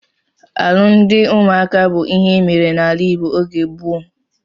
Alụmdi ụmụaka bụ ịhe emere n'ala Igbo oge gboo.